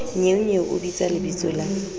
nnyeonyeo o bitsa lebitso la